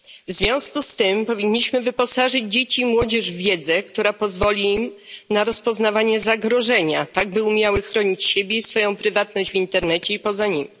W związku z tym powinniśmy wyposażyć dzieci i młodzież w wiedzę, która pozwoli im na rozpoznawanie zagrożenia, tak by umiały chronić siebie i swoją prywatność w internecie i poza nim.